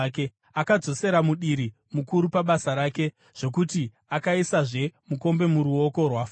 Akadzosera mudiri mukuru pabasa rake, zvokuti akaisazve mukombe muruoko rwaFaro,